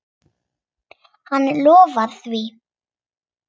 Hann lofaði því.